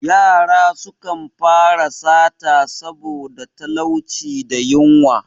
Yara sukan fara sata saboda talauci da yunwa.